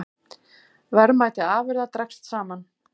Verðmæti afurða dregst saman